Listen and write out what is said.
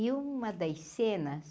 E uma das cenas,